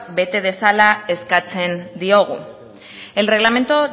bete dezala eskatzen diogu el reglamento